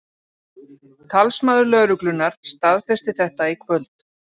Talsmaður lögreglunnar staðfesti þetta í kvöld